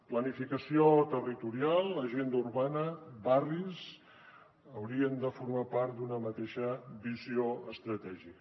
planificació territorial agenda urbana barris haurien de formar part d’una mateixa visió estratègica